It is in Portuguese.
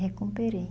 Recuperei.